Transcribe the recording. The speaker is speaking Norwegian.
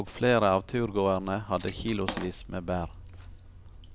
og flere av turgåerene hadde kilosvis med bær.